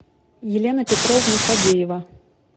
елена петровна фадеева